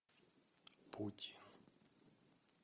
путь